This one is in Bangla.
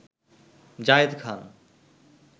জায়েদ খান